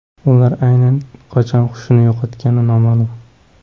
Ular aynan qachon xushini yo‘qotgani noma’lum.